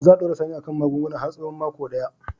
Za a dora Sani a kan magunguna har tsawon mako daya.